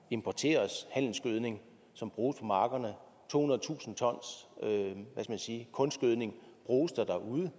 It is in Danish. importeres handelsgødning som bruges på markerne tohundredetusind t kunstgødning bruges der derude